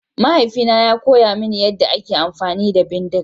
Mahaifina yana koya mini yadda ake amfani da bindiga.